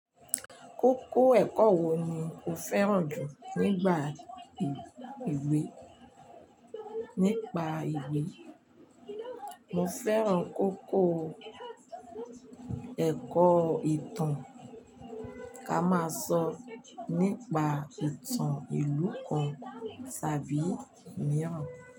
Kókó ẹ̀kọ́ wo ni o fẹ́ràn jù nígbà ìwé nípa ìwé? Mo fẹ́ràn kókó ẹ̀kọ́ ìtàn ká máa sọ nípa ìtàn ìlú kan tàbí mìíràn.